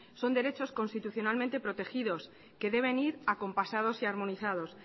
son derechos constitucionalmente protegidos que deben ir acompasados y armonizados